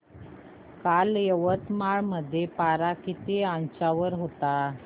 काल यवतमाळ मध्ये पारा किती अंशावर होता